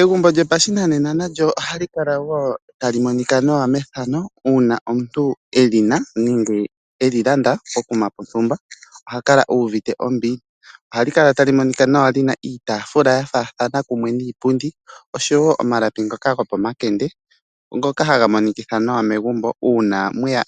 Egumbo lyopashinanena nalyo ohali kala tali monika nawa methano uuna omuntu e li na nenge e li landa pokuma pontumba. Oha kala uvite ombili nawa. Ohali kala tali monika nawa li na iitafula niipundi ya faathana oshowo omalapi gopomakende ngoka haga monekitha egumbo ewanawa. Uuna mwe ya